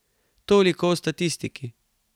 Toliko o statistiki.